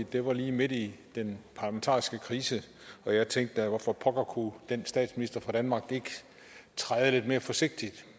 det var lige midt i den parlamentariske krise og jeg tænkte hvorfor pokker kunne den statsminister fra danmark ikke træde lidt mere forsigtigt